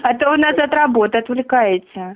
а то вы нас от работы отвлекаете